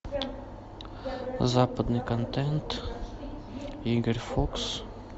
западный контент игорь фокс